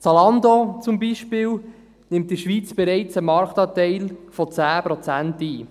Zalando beispielsweise nimmt in der Schweiz bereits einen Marktanteil von 10 Prozent ein.